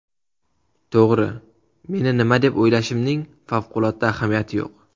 To‘g‘ri, meni nima deb o‘ylashimning favqulodda ahamiyati yo‘q.